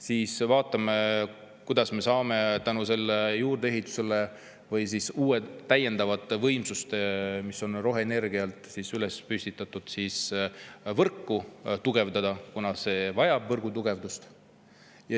Siis vaatame, kuidas me hakkame selle juurdeehituse või siis uute, täiendavate võimsuste tõttu, mis on roheenergiale, võrku tugevdama, kuna see kõik vajab võrgutugevdust.